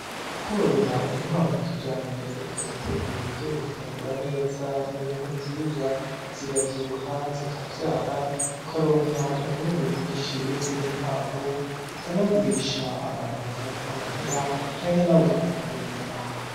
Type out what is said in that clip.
Kworora inkwavu kijambere ukazitegurira ivyo gufungura neza, n'ibintu vyiza, ziravyibuha, zikavyara, ukaronka umwimbu mwinshi w'izindi nkwavu, ukanagurisha, abantu bakaguha amahera, canke nawe ugafungura inyama.